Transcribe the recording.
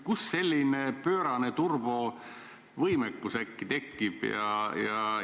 Kust selline pöörane turbovõimekus äkki tekib?